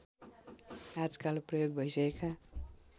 आजकाल प्रयोग भइसकेका